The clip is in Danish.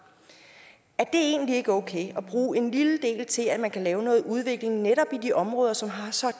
er det egentlig ikke okay at bruge en lille del til at man kan lave noget udvikling netop i de områder som har så